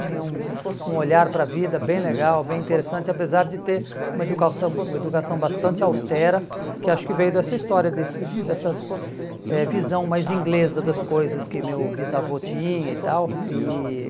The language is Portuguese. Tinha um um olhar para a vida bem legal, bem interessante, apesar de ter uma educação uma educação bastante austera, que acho que veio dessa história, desses dessa eh visão mais inglesa das coisas que meu bisavô tinha e tal. E